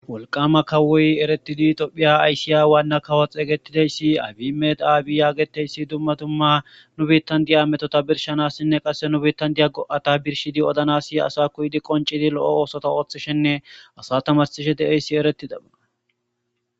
Walqama kawoy eretidi tophiya aysiya waanna kawoxegetideyssi abi meda aabiyaageteyssi dumma tumma nu bitandiya ametota birshanassinne qasse nu bitandiya go'ata birshidi odanasi asa kuydi qoncidi lo'o oosota ooththishenne asa tamasishe de'eyssi eretida aa.